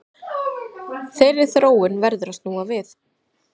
Þeirri þróun verður að snúa við